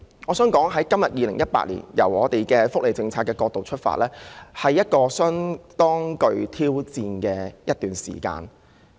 我想指出從2018年的福利政策角度出發，今天其實是一個相當具挑戰性的日子。